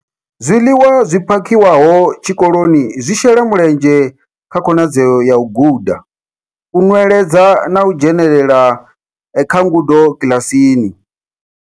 Zwiḽiwa zwi phakhiwaho tshikoloni zwi shela mulenzhe kha khonadzeo ya u guda, u nweledza na u dzhenelela kha ngudo kiḽasini.